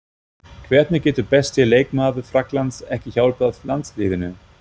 Hvernig getur besti leikmaður Frakklands ekki hjálpað landsliðinu?